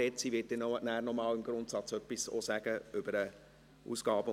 Sie wird später noch etwas Grundsätzliches zum AFP sagen.